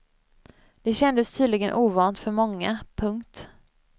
Det kändes tydligen ovant för många. punkt